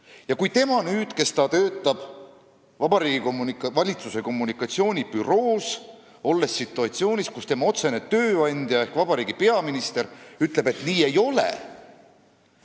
Ja nüüd, kui see spetsialist töötab Vabariigi Valitsuse kommunikatsioonibüroos, on ta situatsioonis, kus tema otsene tööandja ehk vabariigi peaminister ütleb, et nii ei ole.